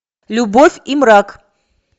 любовь и мрак